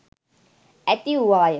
ඇති වුවාය.